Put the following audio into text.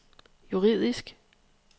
juridisk